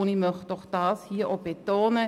das möchte ich hier betonen.